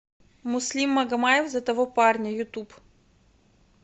муслим магомаев за того парня ютуб